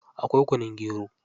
Akwai kunun gero.